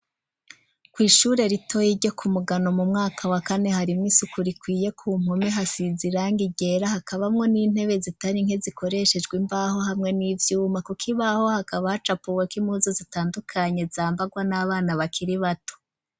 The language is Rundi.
Kw ishure ritoyi ryo ku Mugano mu mwaka wa kane hari mo isuku rikwiye ku mpume hasize irangi ryera hakabamwo n'intebe zitari nke zikoreshejwe imbaho hamwe n'ivyuma kuko ibaho hakaba hacapuweko impuzo zitandukanye zambagwa n'abana bakiri bato.